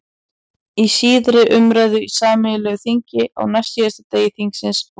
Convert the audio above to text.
Í síðari umræðu í sameinu þingi, á næstsíðasta degi þingsins, vorið